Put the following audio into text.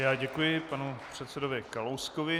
Já děkuji panu předsedovi Kalouskovi.